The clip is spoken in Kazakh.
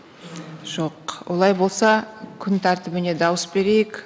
жоқ олай болса күн тәртібіне дауыс берейік